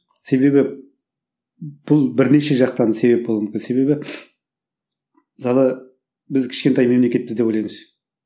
себебі бұл бірнеше жақтан себеп болуы мүмкін себебі мысалы біз кішкентай мемлекетпіз деп ойлаймыз